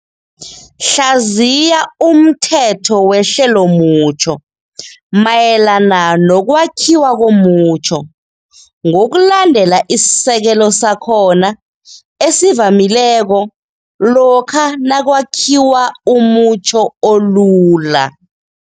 2.8 Hlaziya umthetho wehlelomutjho, syntax, mayelana nokwakhiwa komutjho ngokulandela isisekelo sakhona esivamileko lokha nakwakhiwa umutjho olula.